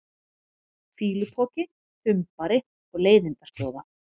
fýlupoki, þumbari og leiðindaskjóða?